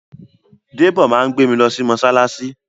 Dèbó máa gbé mi lọ sí mọ́ṣáláṣí